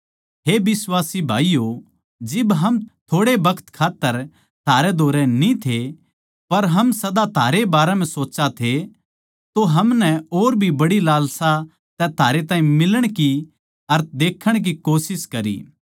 हे बिश्वासी भाईयो जिब हम थोड़े बखत खात्तर थारे धोरै न्ही थे पर हम सदा थारे बारें म्ह ए सोच्चा थे तो हमनै और भी बड़ी लालसा तै थारे ताहीं मिलण की अर देखण की कोशिश करी